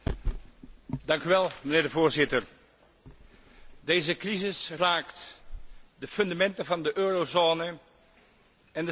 Voorzitter, deze crisis raakt de fundamenten van de eurozone en de stabiliteit in Europa.